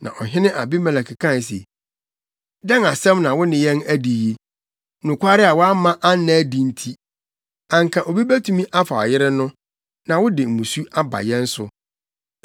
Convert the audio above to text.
Na ɔhene Abimelek kae se, “Dɛn asɛm na wo ne yɛn adi yi? Nokware a woamma anna adi nti, anka obi betumi afa wo yere no, na wode mmusu aba yɛn so.”